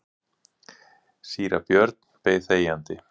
Síra Björn beið þegjandi.